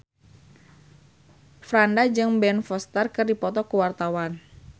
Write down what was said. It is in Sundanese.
Franda jeung Ben Foster keur dipoto ku wartawan